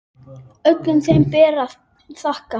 Öllum þeim ber að þakka.